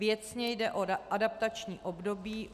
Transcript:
Věcně jde o adaptační období.